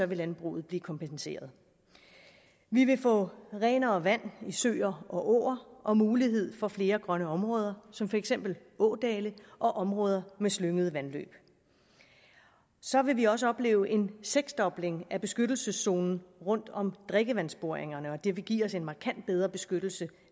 vil landbruget blive kompenseret vi vil få renere vand i søer og åer og mulighed for flere grønne områder som for eksempel ådale og områder med slyngede vandløb så vil vi også opleve en seksdobling af beskyttelseszonen rundt om drikkevandsboringerne og det vil give os en markant bedre beskyttelse